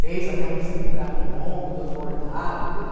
Fez até um vestido para mim longo, todo bordado, tudo.